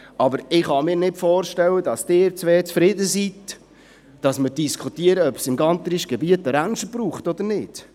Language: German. Aber ich kann mir nicht vorstellen, dass Sie beide zufrieden sind, wenn wir darüber diskutieren, ob es im Gantrisch-Gebiet eine Ranch braucht oder nicht.